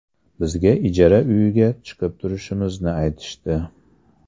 Bizga ijara uyiga chiqib turishimizni aytishdi.